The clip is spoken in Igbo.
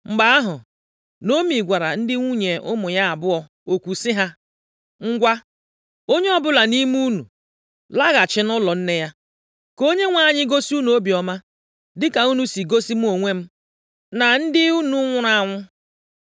Mgbe ahụ, Naomi gwara ndị nwunye ụmụ ya abụọ okwu sị ha, “Ngwa, onye ọbụla nʼime unu laghachi nʼụlọ nne ya. + 1:8 Omenaala bụ na ndị ada na-alụbeghị di, na ndị ada di ha nwụrụ, na-ebinyere nne ha. \+xt Jen 24:28,67\+xt* Nʼakwụkwọ Rut isi abụọ, amaokwu nke iri na otu, e mere ka anyị mata na nna Rut ka dị ndụ. Ka Onyenwe anyị gosi unu obiọma dịka unu si gosi mụ onwe m, na ndị unu nwụrụ anwụ.